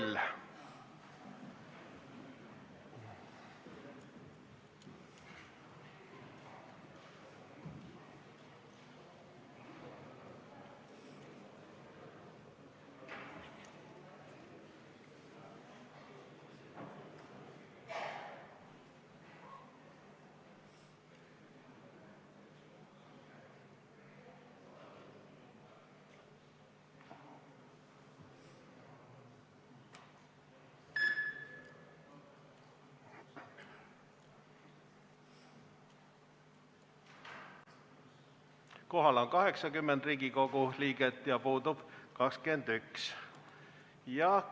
Kohaloleku kontroll Kohal on 80 Riigikogu liiget ja puudub 21.